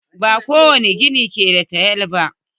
Ba kowani gida ke da tayal ba.